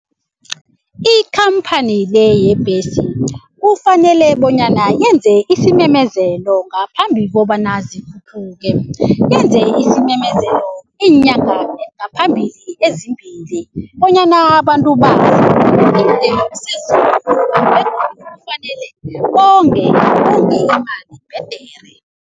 Ikhamphani le yebhesi kufanele bonyana yenze isimemezelo ngaphambi kobana zikhuphuke. Yenze isimemezelo iinyanga ngaphambili ezimbili bonyana abantu bazi kufanele bonge imali bhedere.